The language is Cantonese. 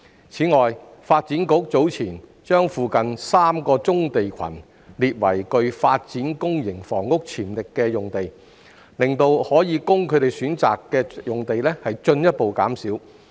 此外，發展局早前把附近3個棕地群列為具發展公營房屋潛力的用地，令可供他們選擇的用地進一步減少。